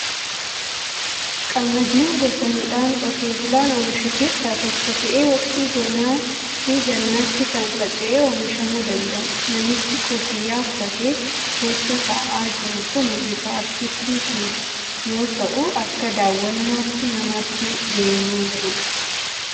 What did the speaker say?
Qamadiin gosa midhaan qotee bulaan oomishu keessaa tokko ta'ee, waqtii bonaa figannaatti kan faca'ee oomishamuu danda'udha. Namichi kuffiyya uffatee keessa taa'aa jiru kuni bifa Artistiitiin yoo ta'u, akka daawwannaatti nama achi deemeerudha.